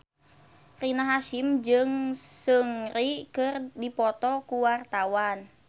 Rina Hasyim jeung Seungri keur dipoto ku wartawan